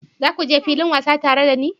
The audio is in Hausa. Za ku je filin wasa tare da ni?